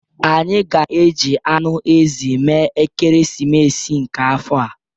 Anyị ga-eji anụ ezi mee ekeresimesi nke afọ a.